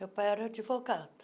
Meu pai era advogado.